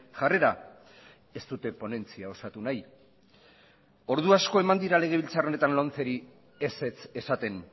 jarrera ez dute ponentzia osatu nahi ordu asko eman dira legebiltzar honetan lomceri ezetz esaten